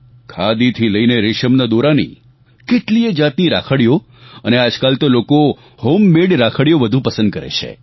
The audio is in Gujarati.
ખાદી થી લઈને રેશમના દોરાની કેટલીયે જાતની રાખડીઓ અને આજકાલ તો લોકો હોમમેડ રાખડીઓ વધુ પસંદ કરે છે